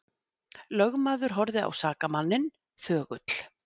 Lögmaður horfði á sakamanninn þögull.